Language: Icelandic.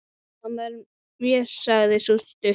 Sama er mér, sagði sú stutta.